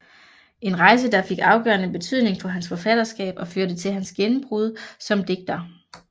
En rejse der fik afgørende betydning for hans forfatterskab og førte til hans gennembrud som digter